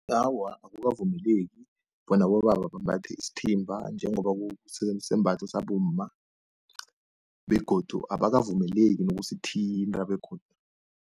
Awa, akukavumeleki bona abobaba bambathe isithimba, njengoba kusisembatho sabomma begodu abakavumeleki nokusithinta begodu.